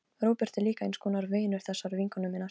Róbert er líka eins konar vinur þessarar vinkonu minnar.